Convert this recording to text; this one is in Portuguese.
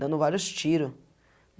Dando vários tiro.